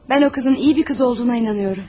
Mən o qızın yaxşı bir qız olduğuna inanıram.